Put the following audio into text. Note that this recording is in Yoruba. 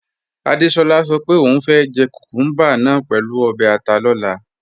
Adéṣolá sọ pé ọún fẹ́ jẹ́ kúkùmbà náà pẹ̀lú obè̩ àtà lọ̀là.